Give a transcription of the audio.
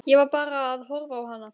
Ég var bara að horfa á hana.